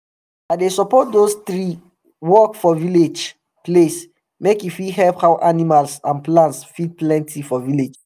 i dey support dose tree work for village place make e fit help how animals and plants fit plenty for village